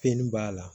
Fɛnnin b'a la